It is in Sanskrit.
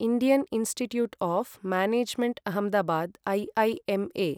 Indian Institute of Management Ahmedabad I I M ऎ